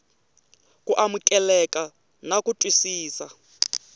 ku amukeleka na ku twisisa